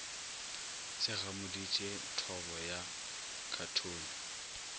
se gamodiše thobo ya khathone